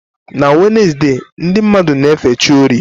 Na Wednesde, ndị mmadụ na-efe chi orie.